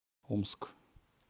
омск